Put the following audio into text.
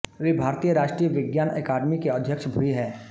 वे भारतीय राष्ट्रीय विज्ञान अकादमी के अध्यक्ष भी हैं